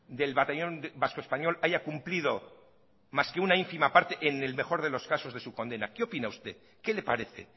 del batallón vasco español haya cumplido más que una ínfima parte en el mejor de los casos de su condena qué opina usted qué le parece